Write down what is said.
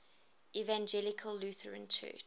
evangelical lutheran church